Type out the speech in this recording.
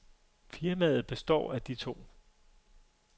Firmaet består af de to.